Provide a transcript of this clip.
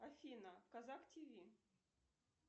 афина казах тв